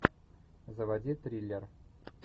заводи триллер